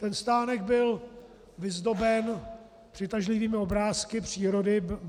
Ten stánek byl vyzdoben přitažlivými obrázky přírody.